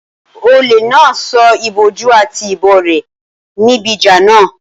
Olè náà sọ ìbòjú àti ìbọn rẹ̀ nù níbi ìjà náà